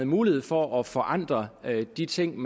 mulighed for at forandre de ting